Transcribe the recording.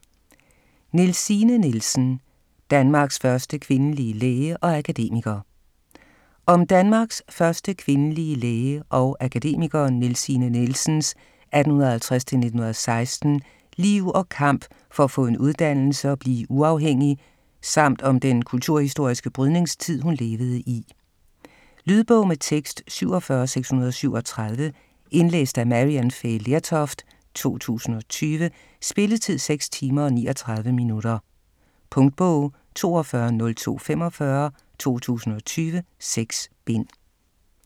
Nielsine Nielsen: Danmarks første kvindelige læge og akademiker Om Danmarks første kvindelige læge og akademiker Nielsine Nielsens (1850-1916) liv og kamp for at få en uddannelse og blive uafhængig, samt om den kulturhistoriske brydningstid hun levede i. Lydbog med tekst 47637 Indlæst af Maryann Fay Lertoft, 2020. Spilletid: 6 timer, 39 minutter. Punktbog 420245 2020. 6 bind.